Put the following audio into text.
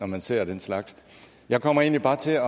man ser den slags jeg kommer egentlig bare til